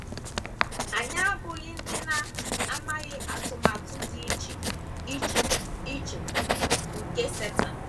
Anyị abụghị ndị na - amaghị atụmatụ dị iche iche iche nke Setan.